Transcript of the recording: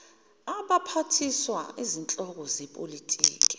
abaphathiswaukuba izinhloko zepolitiki